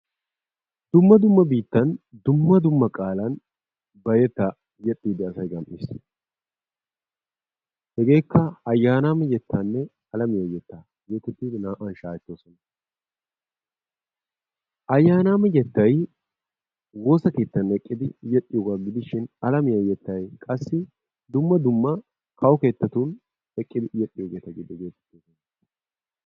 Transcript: Dumma dumma biittan dumma dumma qaalan asay hegeekka ayaanama yeettaanne alamiyaa yeettaa getettidi naa"awu shaahettees. Ayaanama yeettay woossa keetan eqqidi yeexxiyoogaa gidishin alamiyaa yeettay qassi dumma dumma kawo keettatun eqqidi yeexxiyoogeta giididi